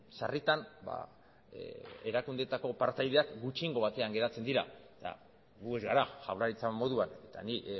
sarritan ba erakundeetako partaideak gutxiengo batean geratzen dira eta gu ez gara jaurlaritza moduan eta nik